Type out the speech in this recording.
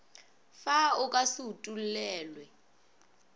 fe o ka se utollelwe